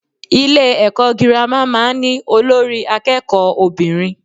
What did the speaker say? Ilé èkó girama máa n ní Olórí akéèkó obìnrin